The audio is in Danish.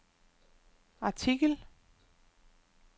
artikel